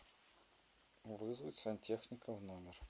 вызвать сантехника в номер